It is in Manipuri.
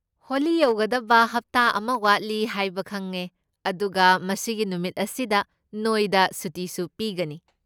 ꯍꯣꯂꯤ ꯌꯧꯒꯗꯕ ꯍꯞꯇꯥ ꯑꯃ ꯋꯥꯠꯂꯤ ꯍꯥꯏꯕ ꯈꯪꯉꯦ, ꯑꯗꯨꯒ ꯃꯁꯤꯒꯤ ꯅꯨꯃꯤꯠ ꯑꯁꯤꯗ ꯅꯣꯏꯗ ꯁꯨꯇꯤꯁꯨ ꯄꯤꯒꯅꯤ꯫